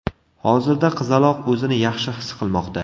Hozirda qizaloq o‘zini yaxshi his qilmoqda.